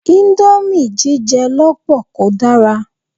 Íńdómì jíjẹ lọ́pọ̀ kò dára.